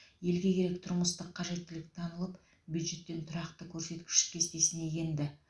елге керек тұрмыстық қажеттілік танылып бюджеттен тұрақты көрсеткіш кестесіне енді